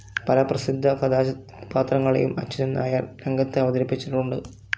പല പ്രസിദ്ധ കഥാപാത്രങ്ങളെയും അച്യുതൻനായർ രംഗത്ത് അവതരിപ്പിച്ചിട്ടുണ്ട്.